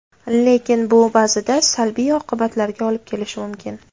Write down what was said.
Lekin bu ba’zida salbiy oqibatlarga olib kelishi mumkin.